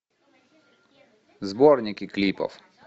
сборники клипов